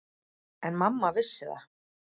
En mamma vissi það.